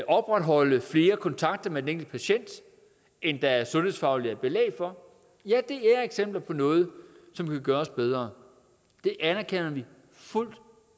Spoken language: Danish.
opretholde flere kontakter med den enkelte patient end der sundhedsfagligt er belæg for er eksempler på noget som kan gøres bedre det anerkender vi fuldt